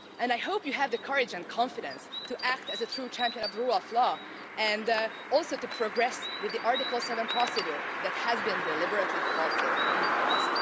I hope you have the courage and confidence to act as a true champion of the rule of law and also progress with the Article 7 procedure that has been deliberately halted in the past.